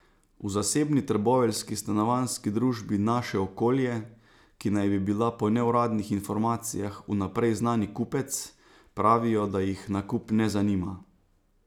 V zasebni trboveljski stanovanjski družbi Naše okolje, ki naj bi bila po neuradnih informacijah vnaprej znani kupec, pravijo, da jih nakup ne zanima.